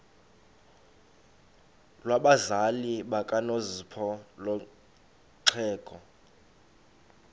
lwabazali bakanozpho nolwexhego